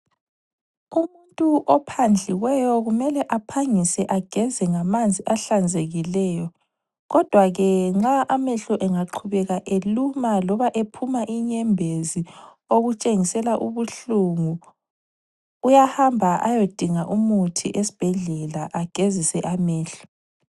Umuntu ophandliweyo kumele aphangise ageze ngamanzi ahlanzekileyo. Kodwa ke nxa amehlo engaqhubeka eluma loba ephuma inyembezi okutshengisela ubuhlungu, uyahamba ayodinga umuthi esibhedlela agezise amehlo.